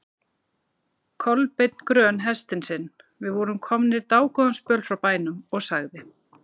Kolbeinn grön hestinn sinn, við vorum komnir dágóðan spöl frá bænum, og sagði